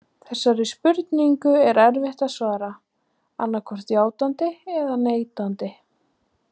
Þessari spurningu er erfitt að svara annaðhvort játandi eða neitandi.